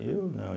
Eu, não. eu